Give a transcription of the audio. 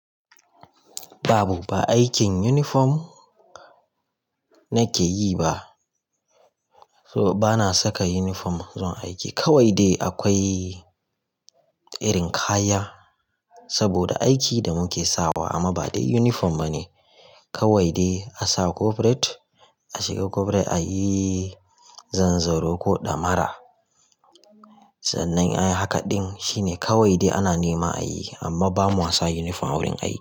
Babu ba aikin uniform nake yi ba, so bana saka uniform zuwa aiki. Kawai dai akwai irin kaya saboda aikin da muke sawa amma ba dai uniform bane. Kawai dai a sa corporate, a shiga corporate a yi zanzaro ko damara. Zan yi haka din shine kawai dai ana nema ayi amma bamu ansa uniform wurin aiki.